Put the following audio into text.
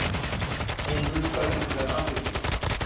Hún hlustaði með athygli.